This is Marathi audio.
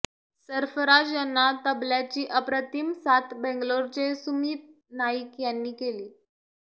सर्फराज यांना तबल्याची अप्रतिम साथ बेंगलोरचे सुमीत नाईक यांनी केली